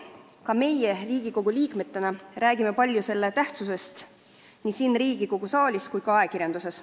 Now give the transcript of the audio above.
Ka meie Riigikogu liikmetena räägime selle tähtsusest palju nii siin Riigikogu saalis kui ka ajakirjanduses.